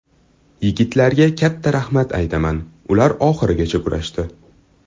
Yigitlarga katta rahmat aytaman, ular oxirigacha kurashdi.